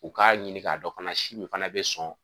U k'a ɲini k'a dɔ fana si min fana bɛ sɔn